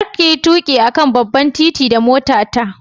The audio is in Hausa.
Kar kayi tuƙi a kan babban gudu da motata.